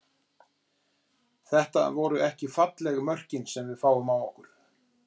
Þetta voru ekki falleg mörkin sem við fáum á okkur.